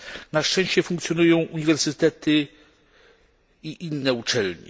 Na szczęście funkcjonują uniwersytety i inne uczelnie.